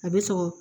A bɛ sɔrɔ